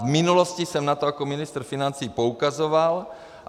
V minulosti jsem na to jako ministr financí poukazoval.